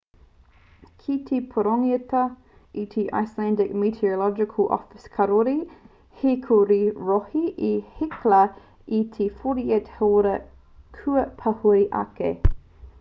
kei te pūrongotia e te icelandic meteorological office kāore he rū ki te rohe o hekla i te 48 hāora kua pahure ake